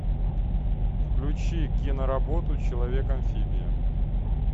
включи киноработу человек амфибия